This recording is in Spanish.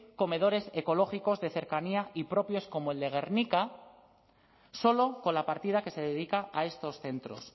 comedores ecológicos de cercanía y propios como el de gernika solo con la partida que se dedica a estos centros